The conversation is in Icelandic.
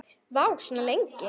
Vá, svona lengi?